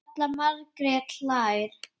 Halla Margrét hlær.